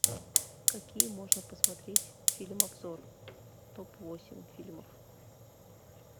какие можно посмотреть фильм обзор топ восемь фильмов